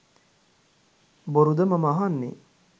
බොරුද මම අහන්නේ